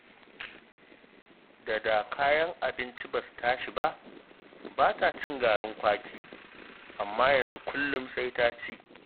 Da da kayan abinci ba su tashi ba, ba ta cin garin kwaki, amma yanzu kullum sai ta ci